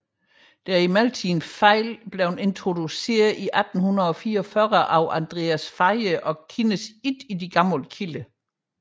Det er imidlertid en fejl introduceret i 1844 af Andreas Faye og kendes ikke i gamle kilder